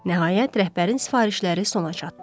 Nəhayət, rəhbərin sifarişləri sona çatdı.